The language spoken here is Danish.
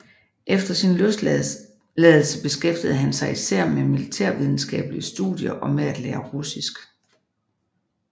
Efter sin løsladelse beskæftigede han sig især med militærvidenskabelige studier og med at lære russisk